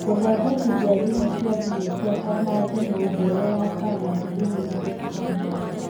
Gũthondekithia thimũ cia thimũ ciakwa na thimũ njerũ ya Sam at gmail dot com